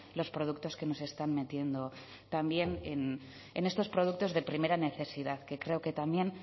los productos que nos están metiendo también en estos productos de primera necesidad que creo que también